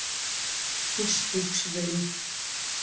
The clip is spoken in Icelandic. Fossvogsvegi